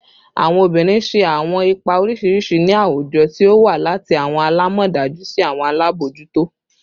Awọn obinrin ṣe awọn ipa oriṣiriṣi ni awujọ, ti o wa lati awọn alamọdaju si awọn alabojuto